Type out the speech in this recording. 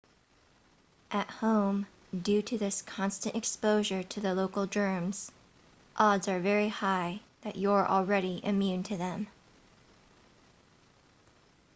at home due to this constant exposure to the local germs odds are very high that you're already immune to them